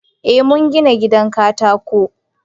Eh, mun gina gidan katako.